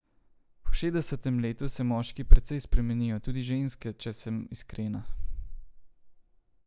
Po šestdesetem letu se moški precej spremenijo, tudi ženske, če sem iskrena.